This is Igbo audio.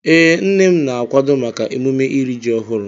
Ee, nne m na-akwado maka emume iri ji ọhụrụ.